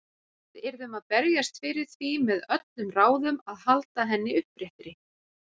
Við yrðum að berjast fyrir því með öllum ráðum að halda henni uppréttri.